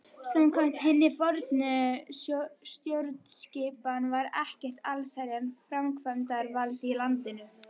Samkvæmt hinni fornu stjórnskipan var ekkert allsherjar framkvæmdarvald í landinu.